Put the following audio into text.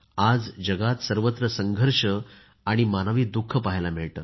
आज जगात सर्वत्र संघर्ष आणि मानवी दु ख पहायला मिळते